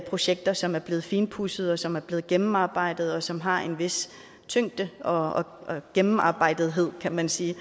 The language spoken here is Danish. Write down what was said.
projekter som er blevet finpudset som er blevet gennemarbejdet og som har en vis tyngde og gennemarbejdelse kan man sige